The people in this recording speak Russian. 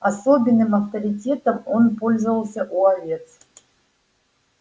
особенным авторитетом он пользовался у овец